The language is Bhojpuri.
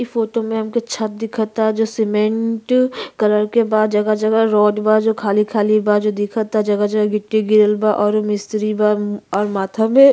इ फोटो में हमके छत दिखता जो सीमेंट कलर के बा। जगह-जगह रोड बा। जो खाली-खाली बा। जो दिखता जगह-जगह गिट्टी गिरल बा और मिस्त्री बा और माथा मे --